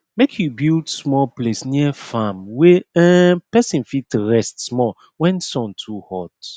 make u build small place near farm wey um person fit rest small wen sun too hot